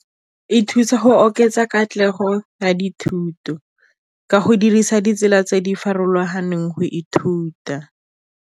E thusa go oketsa katlego ya dithuto, ka go dirisa ditsela tse di farologaneng go ithuta.